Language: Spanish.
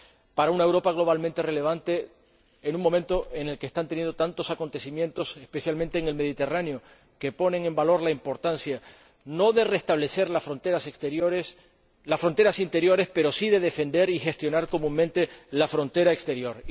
para una Europa globalmente relevante en un momento en el que están teniendo lugar tantos acontecimientos especialmente en el Mediterráneo que ponen en valor la importancia, no de restablecer las fronteras interiores, pero sí de defender y gestionar en común la frontera exterior.